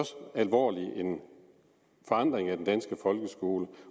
alvorlig forandring af den danske folkeskole